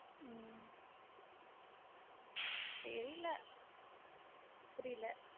உம் தெரில புரில